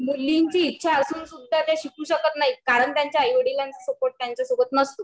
मुलींची ईच्छा असूनही त्या शिकू शकत नाहीत कारण त्यांच्या आईवडिलांचा सपोर्ट त्यांच्यासोबत नसतो